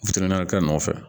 kɛ nɔfɛ